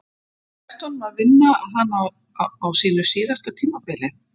Tekst honum að vinna hana á sínu síðasta tímabili?